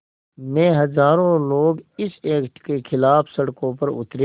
में हज़ारों लोग इस एक्ट के ख़िलाफ़ सड़कों पर उतरे